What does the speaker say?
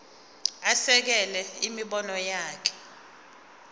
asekele imibono yakhe